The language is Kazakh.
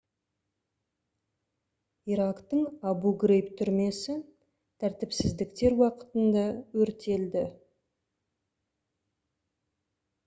ирактың абу-грейб түрмесі тәртіпсіздіктер уақытында өртелді